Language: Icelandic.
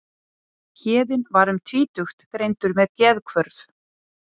Héðinn var um tvítugt greindur með geðhvörf.